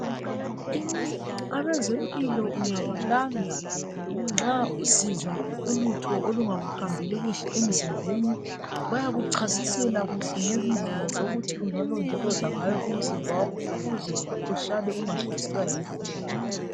abezempilo ungabalanda nxa usizwa ulutho olungakuhambeli kuhle emzimbeni bayakuchasisela kuhle ngezindlela zokuthi ungalondoloza ngayo umzimba wakho ukuze uhlale ungahlaselwa yimikhuhlane